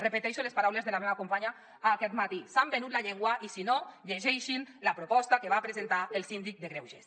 repeteixo les paraules de la meva companya aquest matí s’han venut la llengua i si no llegeixin la proposta que va presentar el síndic de greuges